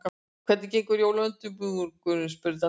Hvernig gengur jólaundirbúningurinn? spurði Dadda.